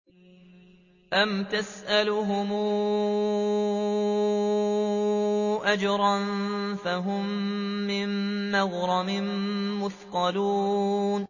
أَمْ تَسْأَلُهُمْ أَجْرًا فَهُم مِّن مَّغْرَمٍ مُّثْقَلُونَ